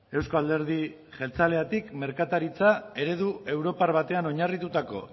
euzko alderdi jeltzaletik merkataritza eredu europar batean oinarritutako